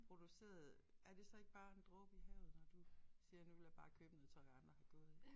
Produceret er det så ikke bare en dråbe i havet når du siger nu vil jeg bare købe noget tøj andre har gået i